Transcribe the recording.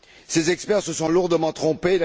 Ses experts se sont lourdement trompés.